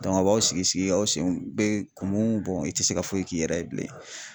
Dɔnku a b'aw sigi sigi aw senw be kumu bɔn i te se ka foyi k'i yɛrɛ ye bilen